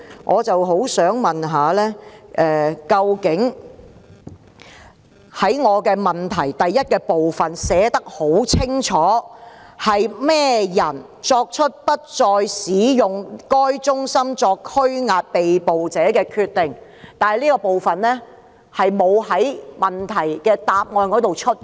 我在主體質詢第一部分清楚問到，是何人作出不再使用該中心作拘押被捕示威者的決定，但主體答覆卻沒有回答這部分。